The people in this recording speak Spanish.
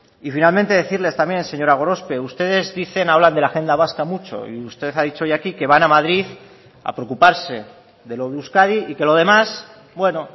y finalmente decirles también señora gorospe ustedes dicen hablan de la agenda vasca mucho y usted ha dicho hoy aquí que van a madrid a preocuparse de lo de euskadi y que lo demás bueno